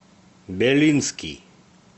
белинский